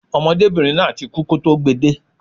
Ọmọdébìnrin náà ti kú kọ́ tó gbe de